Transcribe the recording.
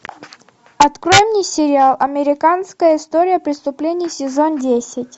открой мне сериал американская история преступлений сезон десять